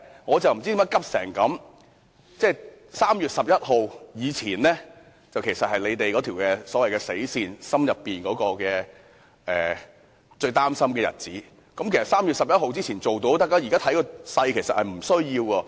我不知道他為何如此焦急 ，3 月11日是他們之前所訂的"死線"，也是他們最擔心的日子，只要在3月11日前通過便可以，而且現在看來根本不需要那麼遲。